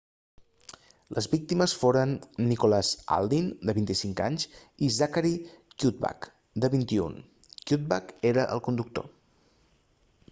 les víctimes foren nicholas alden de 25 anys i zachary cuddeback de 21 cuddeback era el conductor